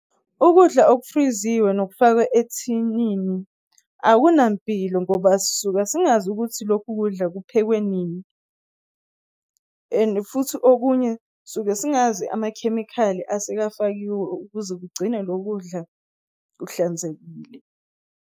Ukudla okufriziwe nokufakwe ethinini akunampilo ngoba sisuka singazi ukuthi lokhu kudla kuphekwe nini, and futhi okunye suke singazi amakhemikhali asekafakiwe ukuze kugcine lo kudla kuhlanzekile.